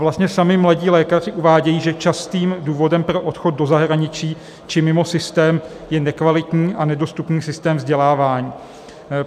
Vlastně sami mladí lékaři uvádějí, že častým důvodem pro odchod do zahraničí či mimo systém je nekvalitní a nedostupný systém vzdělávání.